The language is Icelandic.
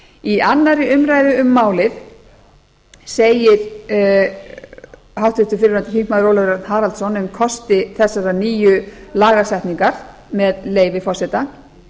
í annarri umræðu um málið segir háttvirtur fyrrverandi þingmaður ólafur örn haraldsson um kosti þessarar nýju lagasetningar með leyfi forseta